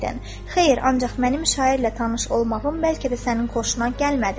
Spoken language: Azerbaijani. "Xeyr, ancaq mənim şairlə tanış olmağım bəlkə də sənin xoşuna gəlmədi."